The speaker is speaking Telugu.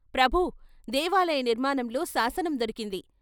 ' ప్రభూ దేవాలయ నిర్మాణంలో శాసనం దొరికింది.